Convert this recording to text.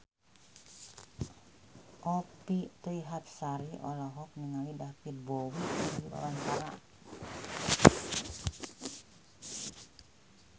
Annisa Trihapsari olohok ningali David Bowie keur diwawancara